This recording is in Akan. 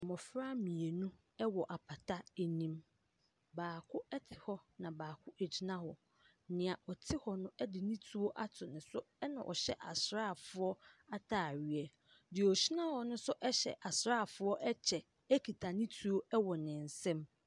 Mmofra mmienu wɔ apata anim. Baako te hɔ, na baako gyina hɔ. Nea ɔte hɔ no de ne tuo ato ne so na ɔhyɛ asrafoɔ ataareɛ. Nea ogyin a hɔ no nso ɛhyɛ asrafoɔ kyɛ ekita ne tuo wɔ ne nsam.